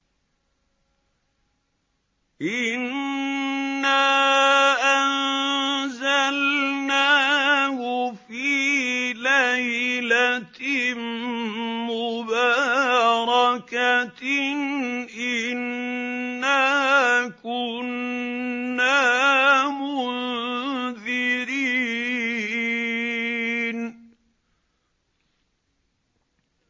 إِنَّا أَنزَلْنَاهُ فِي لَيْلَةٍ مُّبَارَكَةٍ ۚ إِنَّا كُنَّا مُنذِرِينَ